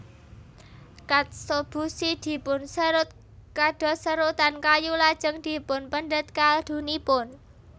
Katsuobushi dipunserut kados serutan kayu lajeng dipunpendhet kaldunipun